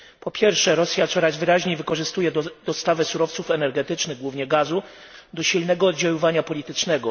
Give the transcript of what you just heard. Po pierwsze, Rosja coraz wyraźniej wykorzystuje dostawy surowców energetycznych, a głównie gazu, do silnego oddziaływania politycznego.